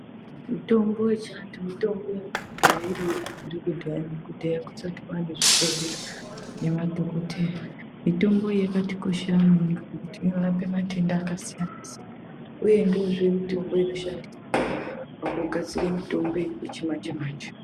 Mitombo yechiantu mitombo yanga yagara iriyo kubvire kudhaya nekudhaya kusati kwaanezvibhohleya nemadhogodheya. Mitombo iyi yakatikoshera maningi ngekuti inorape matenda akasiyana-siyana. Uye ndoozve mutombo inoshandiswa pakugadzire mutombo yechimanje-manje.